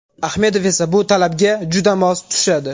Ahmedov esa bu talabga juda mos tushadi.